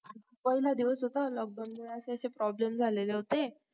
पहिला दिवस होता lockdown मध्ये असे problems झाले होते